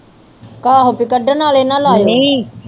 ਆਹੋ ਪੀ ਕਢਣ ਆਲੇ ਨਾ ਲਾਇਓ